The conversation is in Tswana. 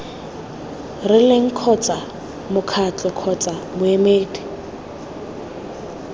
rileng kgotsa mokgatlo kgotsa moemedi